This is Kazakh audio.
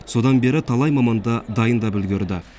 содан бері талай маманды дайындап үлгерді